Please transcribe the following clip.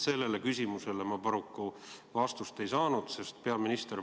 Sellele küsimusele ma paraku vastust ei saanud.